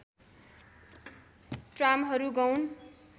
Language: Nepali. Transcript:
ट्रामहरू गौण